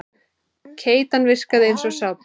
Keytan virkaði eins og sápa.